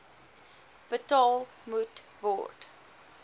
betaal moet word